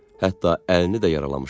Hətta əlini də yaralamışdı.